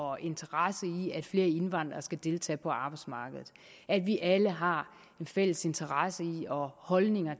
og interesse i at flere indvandrere skal deltage på arbejdsmarkedet at vi alle har en fælles interesse i og holdning